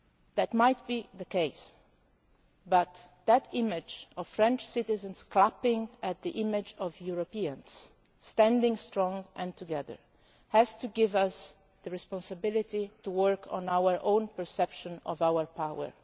and very weak. That might be the case, but that image of French citizens clapping the image of Europeans, standing strong and together, has to give us the responsibility to work on our own perception